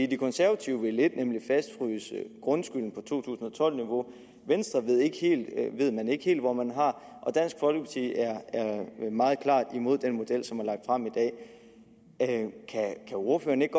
de konservative vil en ting nemlig fastfryse grundskylden på to tusind og tolv niveau venstre ved man ikke helt hvor man har og dansk folkeparti er meget klart imod den model som er lagt frem i dag kan ordføreren ikke